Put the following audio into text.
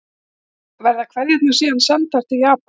Verða kveðjurnar síðan sendar til Japans